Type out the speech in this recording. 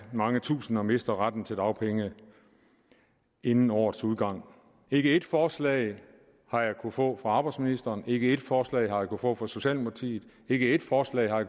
mange tusinde mister retten til dagpenge inden årets udgang ikke ét forslag har jeg kunnet få fra arbejdsministeren ikke ét forslag har jeg kunnet få fra socialdemokratiet ikke ét forslag har